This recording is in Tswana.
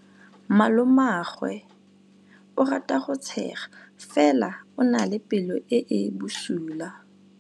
Malomagwe o rata go tshega fela o na le pelo e e bosula.